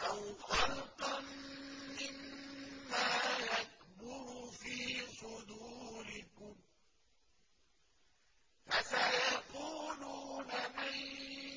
أَوْ خَلْقًا مِّمَّا يَكْبُرُ فِي صُدُورِكُمْ ۚ فَسَيَقُولُونَ مَن